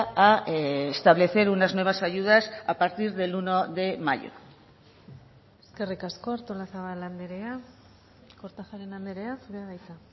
a establecer unas nuevas ayudas a partir del uno de mayo eskerrik asko artolazabal andrea kortajarena andrea zurea da hitza